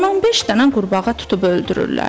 On beş dənə qurbağa tutub öldürürlər.